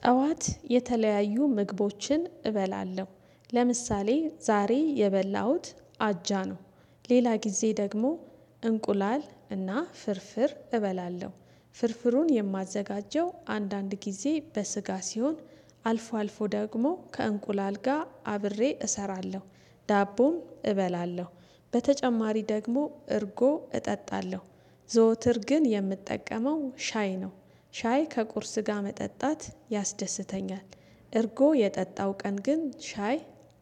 ጠዋት የተለያዩ ምግቦችን እበላለ፦ ለምሳሌ ዛሬ የበላሁት አጃ ነው ሌላ ጊዜ ደግሞ እንቁላል እና ፍርፍር እበላለሁ ፥ፍርፍሩን የማዘጋጀው አንዳንድ ጊዜ በስጋ ሲሆን አልፎ አልፎ ደግሞ ከእንቁላል ጋር አብሬ እሰራለሁ፤ ዳቦም እበላለሁ በተጨማሪ ደግሞ እርጎ እጠጣለሁ፣ ዘወትር ግን የምጠቀመው ሻይ ነው ሻይ ከቁርስ ጋር መጠጣት ያስደስተኛል። እርጎ የጠጣው ቀን ግን ሻይ